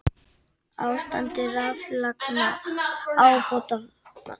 Ástandi raflagna ábótavant